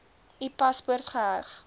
u paspoort geheg